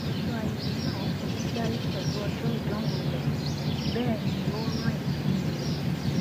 ọjọ ayẹyẹ náà forígbárí pẹlú ọjọ ìdánwò rẹ bẹẹ ni ó rán ìkíni rẹ